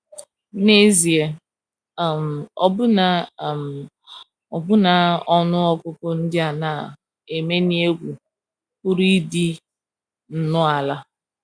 N’ezie, um ọbụna, um ọbụna ọnụ ọgụgụ ndị a na - emenye egwu pụrụ ịdị nnọọ ala.